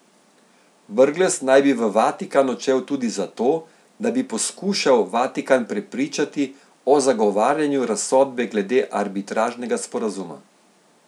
Brglez naj bi v Vatikan odšel tudi zato, da bi poskušal Vatikan prepričati o zagovarjanju razsodbe glede arbitražnega sporazuma.